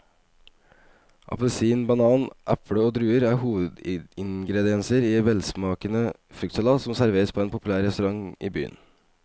Appelsin, banan, eple og druer er hovedingredienser i en velsmakende fruktsalat som serveres på en populær restaurant i byen.